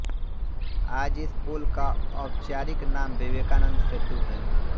आज इस पुल का औप्चारिक नाम विवेकानंद सेतू है